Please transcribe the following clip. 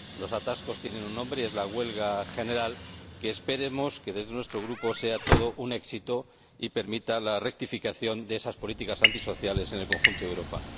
Los atascos tienen un nombre y es la huelga general, que desde nuestro Grupo esperamos que sea todo un éxito y permita la rectificación de esas políticas antisociales en el conjunto de Europa.